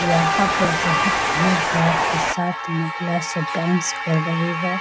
यहाँ पर बहुत भीड़ भड़ाक के साथ महिला सब डांस कर रही है।